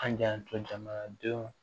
An y'an to jamanadenw